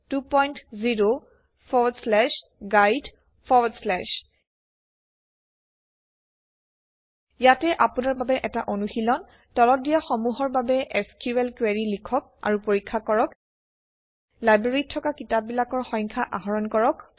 httpwwwhsqldborgdoc20guide ইয়াতে আপোনাৰ বাবে এটা অনুশীলন তলত দিয়া সমূহৰ বাবে এছক্যুএল কুৱেৰি লিখক আৰু পৰীক্ষা কৰক ১ লাইব্ৰেৰীত থকা কিতাপবিলাকৰ সংখ্যা আহৰণ কৰক